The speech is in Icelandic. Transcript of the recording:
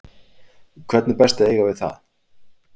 Hvernig er best að eiga við það?